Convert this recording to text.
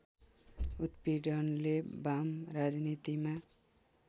उत्पीडनले बाम राजनीतिमा